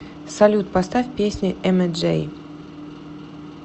салют поставь песню эмэджей